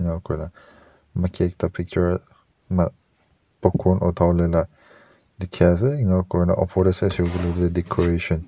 maki ekta picture ma popcorn utha wole la dikhiase enika kurina opor tae sai shey koilae tu decoration .